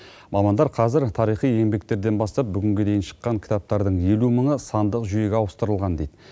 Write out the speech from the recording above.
мамандар қазір тарихи еңбектерден бастап бүгінге дейін шыққан кітаптардың елу мыңы сандық жүйеге ауыстырылған дейді